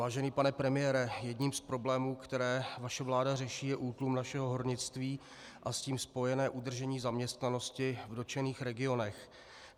Vážený pane premiére, jedním z problémů, které naše vláda řeší, je útlum našeho hornictví a s tím spojené udržení zaměstnanosti v dotčených regionech.